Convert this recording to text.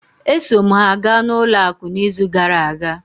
E so m ha ga n'ụlọ akụ n'izu gara aga.